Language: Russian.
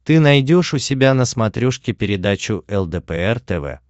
ты найдешь у себя на смотрешке передачу лдпр тв